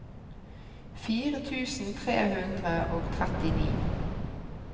fire tusen tre hundre og trettini